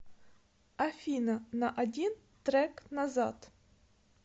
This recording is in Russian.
афина на один трек назад